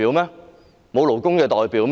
沒有勞工代表嗎？